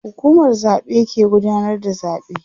hukumar zaɓe ke gudanar da zaɓe